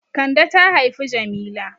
Kande ta haifi Jamila.